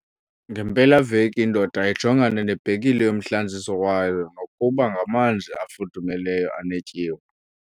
Ngempelaveki indoda ijongana nebhekile yomhlanziso wayo nokuba ngamanzi afudumeleyo anetyiwa.